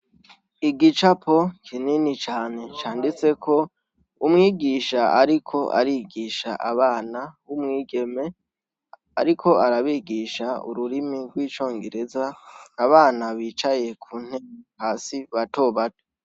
Igicapo kinini cane canditseko umwigisha ariko arigisha abana w’umwigeme, ariko arabigisha ururimi rw’icongereza abana bicaye ku ntebe hasi bato bato.